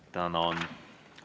Tänan!